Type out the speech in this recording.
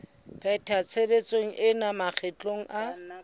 pheta tshebetso ena makgetlo a